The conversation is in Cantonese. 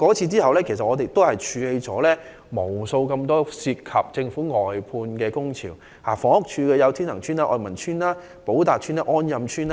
此後，我們處理了無數由政府外判制度引發的工潮，涉及房屋署的天衡邨、愛民邨、寶達邨及安蔭邨等。